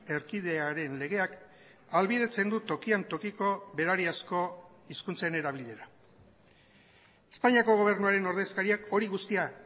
erkidearen legeak ahalbidetzen du tokian tokiko berariazko hizkuntzen erabilera espainiako gobernuaren ordezkariak hori guztia